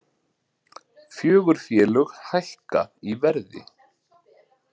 Fjögur félög hækka í verði